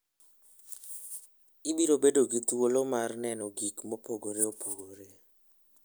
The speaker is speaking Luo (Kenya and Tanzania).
Ibiro bedo gi thuolo mar neno gik mopogore opogore.